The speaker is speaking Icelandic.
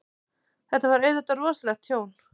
Þetta var auðvitað rosalegt tjón.